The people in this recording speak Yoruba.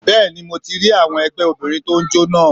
Bẹ́ẹ̀ni mo rí àwọn ẹgbẹ́ Obìnrin tó n jó naa